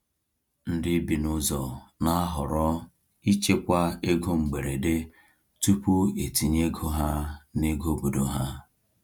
Ndị bi n’ọzọ na-ahọrọ ichekwa ego mgberede tupu etinye ego ha n’ego obodo ha.